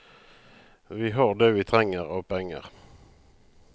Vi har det vi trenger av penger.